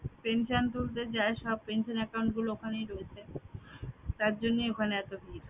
pension তুলতে যায় সব pension account গুলো ওখানেই রয়েছে তারজন্যেই ওখানে এত ভীর